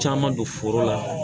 Caman don foro la